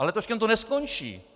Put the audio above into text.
A letoškem to neskončí.